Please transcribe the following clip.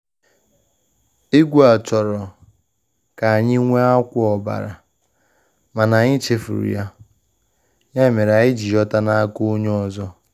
Egwu a chọrọ ka e nwee akwa ọbara, mana anyị chefuru ya, ya mere anyi jiri yota n’aka onye ọzọ